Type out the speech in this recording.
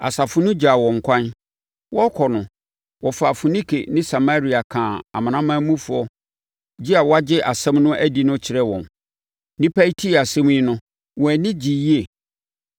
Asafo no gyaa wɔn kwan. Wɔrekɔ no, wɔfaa Foinike ne Samaria kaa amanamanmufoɔ gye a wɔagye asɛm no adi no kyerɛɛ wɔn. Nnipa yi tee saa asɛm yi no, wɔn ani gyee yie.